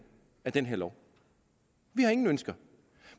af den her lov vi har ingen ønsker